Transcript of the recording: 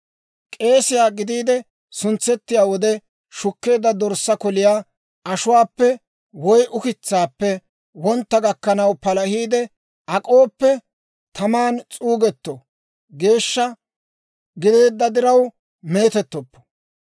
K'eesiyaa gidiide suntsettiyaa wode shukkeedda dorssaa koliyaa ashuwaappe woy Ukitsaappe wontta gakkanaw palahiide ak'ooppe, taman s'uugetto; geeshsha gideedda diraw meetettoppo.